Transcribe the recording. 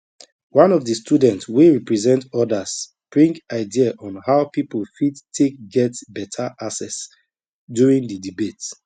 one of the student wey represent others bring idea on how people fit take get better access during the debate